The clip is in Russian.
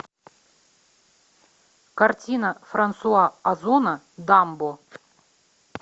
картина франсуа озона дамбо